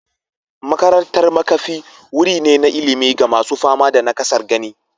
Makarantar makafi wuri ne na ilimi ga masu fama da nakasar gani.